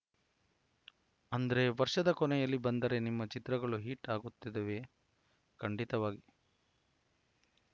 ಅಂದ್ರೆ ವರ್ಷದ ಕೊನೆಯಲ್ಲಿ ಬಂದರೆ ನಿಮ್ಮ ಚಿತ್ರಗಳು ಹಿಟ್‌ ಆಗುತ್ತದವೆ ಖಂಡಿತವಾಗಿ